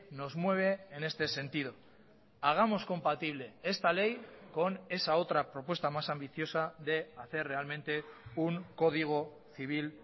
nos mueve en este sentido hagamos compatible esta ley con esa otra propuesta más ambiciosa de hacer realmente un código civil